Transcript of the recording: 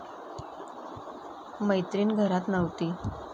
मैत्रीण घरात नव्हती.